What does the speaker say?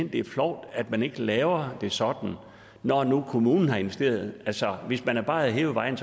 at det er flovt at man ikke laver det sådan når nu kommunen har investeret altså hvis man bare havde hævet vejen